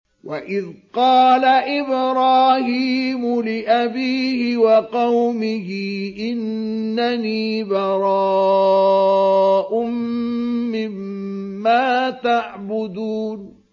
وَإِذْ قَالَ إِبْرَاهِيمُ لِأَبِيهِ وَقَوْمِهِ إِنَّنِي بَرَاءٌ مِّمَّا تَعْبُدُونَ